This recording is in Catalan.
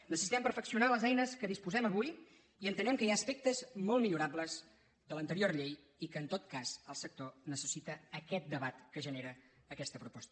necessitem perfeccionar les eines de què disposem avui i entenem que hi ha aspectes molt millorables de l’anterior llei i que en tot cas el sector necessita aquest debat que genera aquesta proposta